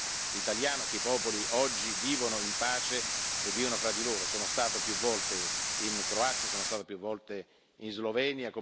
Ho ricordato, anche in un articolo che ho scritto su un importante quotidiano italiano, che i popoli oggi vivono in pace fra di loro.